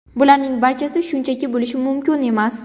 Bularning barchasi shunchaki bo‘lishi mumkin emas.